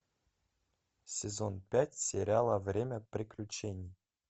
сезон пять сериала время приключений